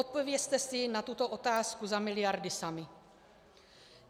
Odpovězte si na tuto otázku za miliardy sami.